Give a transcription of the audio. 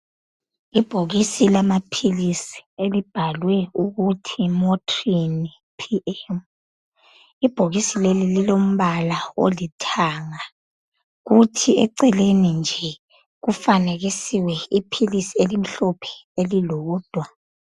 Ibhokisi lamaphilisi elibhalwe ukuthi Motrin PM. Ibhokisi leli lilombala olithanga kuthi eceleni nje kufanekisiwe iphilisi elimhlophe elilodwa.